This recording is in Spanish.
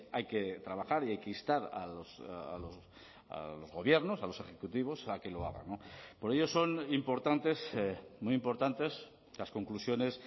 hay que trabajar y hay que instar a los gobiernos a los ejecutivos a que lo hagan por ello son importantes muy importantes las conclusiones